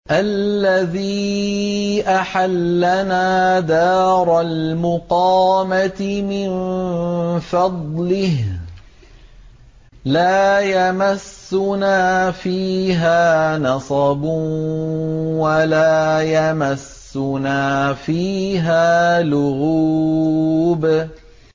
الَّذِي أَحَلَّنَا دَارَ الْمُقَامَةِ مِن فَضْلِهِ لَا يَمَسُّنَا فِيهَا نَصَبٌ وَلَا يَمَسُّنَا فِيهَا لُغُوبٌ